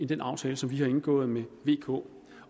den aftale som vi har indgået med vk